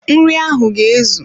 Nri ahụ ga ezu